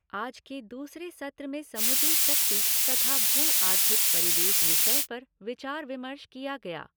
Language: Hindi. आज के दूसरे सत्र में समुद्री शक्ति तथा भू आर्थिक परिवेश विषय पर विचार विमर्श किया गया।